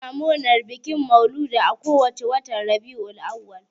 Musulmai suna bikin maulidi a ko wace watan Rabi'ul Auwal.